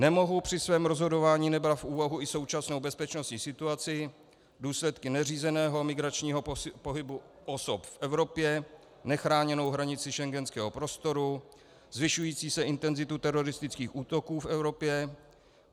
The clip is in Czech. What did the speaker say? Nemohu při svém rozhodování nebrat v úvahu i současnou bezpečnostní situaci, důsledky neřízeného migračního pohybu osob v Evropě, nechráněnou hranici schengenského prostoru, zvyšující se intenzitu teroristických útoků v Evropě.